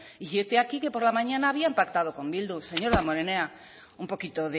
y hete aquí que por la mañana habían pactado con bildu señor damborenea un poquito